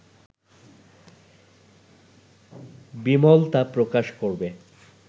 বিমল তা প্রকাশ করবে